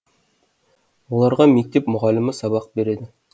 оларға мектеп мұғалімі сабақ береді